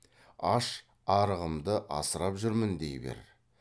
аш арығымды асырап жүрмін дей бер